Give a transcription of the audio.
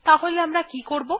তাহলে আমরা কি করবো